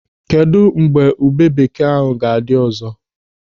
Kedụ mgbe ube bekee ahụ ga-adị ọzọ?